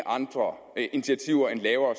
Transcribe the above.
andre initiativer end lavere